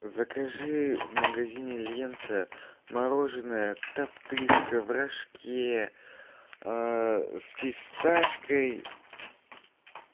закажи в магазине лента мороженое топтыжка в рожке с фисташкой